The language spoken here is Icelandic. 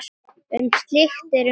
Um slíkt eru mörg dæmi.